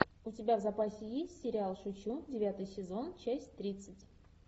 у тебя в запасе есть сериал шучу девятый сезон часть тридцать